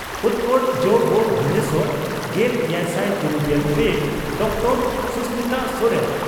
ᱩᱛᱠᱚᱲ ᱡᱹᱵᱹ ᱵᱷᱩᱵᱚᱱᱮᱥᱚᱨ᱾ᱜᱮᱞ ᱮᱭᱟᱭᱥᱟᱭ ᱛᱩᱨᱩᱭᱜᱮᱞ ᱯᱮ ᱰᱚᱠᱴᱚᱨ ᱥᱚᱥᱢᱤᱛᱟ ᱥᱚᱨᱮᱱ